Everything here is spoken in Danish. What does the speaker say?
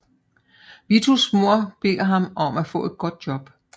Vitos mor beder ham om at få et godt job